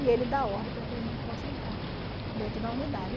E ele dá ordem para que a gente possa entrar dentro da unidade.